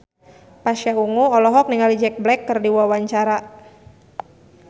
Pasha Ungu olohok ningali Jack Black keur diwawancara